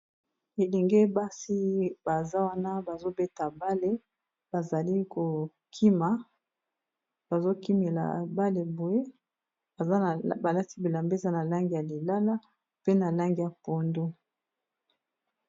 Elenge basi baza wana bazobeta bale bazali kokima bazokimela bale boye balati bilamba eza na langi ya lilala pe na langi ya pondu.